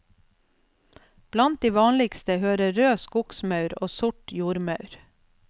Blant de vanligste hører rød skogsmaur og sort jordmaur.